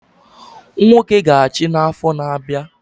Nwoke ga achi na afo na abia